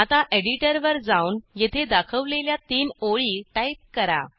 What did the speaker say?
आता एडिटर वर जाऊन येथे दाखवलेल्या तीन ओळी टाईप करा